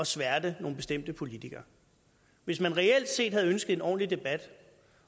sværte nogle bestemte politikere hvis man reelt set havde ønsket en ordentlig debat